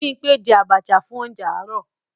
Bímpé je àbàchà fún óuńjẹ àárọ̀